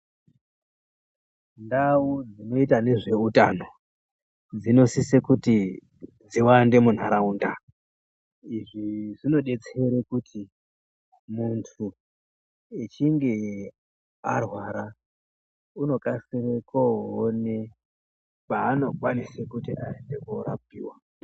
Ndau dzinoita nezveutano dzinosise kuti dziwande munharaunda. Izvi zvinobetsere kuti muntu echinge arwara unokasire koone kwaanokwanise kuti asise koorapiwa.